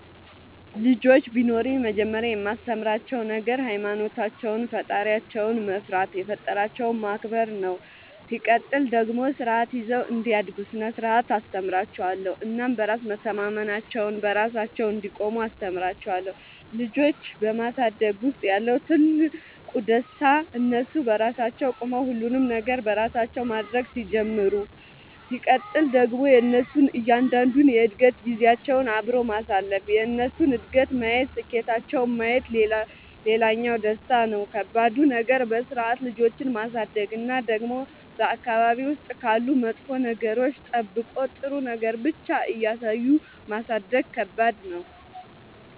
ልጆች ቢኖሩኝ መጀመሪያ የማስተምራቸዉ ነገር ሃይማኖታቸውን ፈጣሪያቸውን መፍራት የፈጠራቸውን ማክበር ነው ሲቀጥል ደግሞ ስርዓት ይዘው እንዲያድጉ ስነ ስርዓት አስተምራችኋለሁ እናም በራስ መተማመናቸውን, በራሳቸው እንዲቆሙ አስተምራቸዋለሁ። ልጆች በማሳደግ ውስጥ ያለው ትልቁ ደስታ እነሱ በራሳቸው ቆመው ሁሉንም ነገር በራሳቸው ማድረግ ሲጀምሩ ሲቀጥል ደግሞ የእነሱን እያንዳንዷን የእድገት ጊዜያቸውን አብሮ ማሳለፍ የእነሱን እድገት ማየት ስኬታቸውን ማየት ሌላኛው ደስታ ነው። ከባዱ ነገር በስርዓት ልጆችን ማሳደግ እና ደግሞ በአካባቢ ውስጥ ካሉ መጥፎ ነገሮች ጠብቆ ጥሩ ነገር ብቻ እያሳዩ ማሳደግ ከባድ ነው።